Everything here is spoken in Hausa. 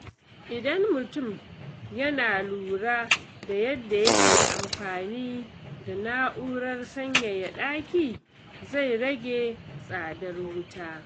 Idan mutum yana lura da yadda yake amfani da na’urar sanyaya ɗaki, zai rage tsadar wuta.